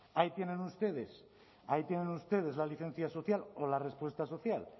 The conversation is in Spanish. ahí tienen ustedes la licencia social o la respuesta social